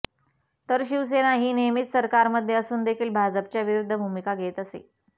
तर शिवसेना ही नेहमीच सरकारमध्ये असून देखील भाजपच्या विरुद्ध भूमिका घेत असे